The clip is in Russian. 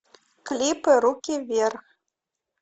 клипы руки вверх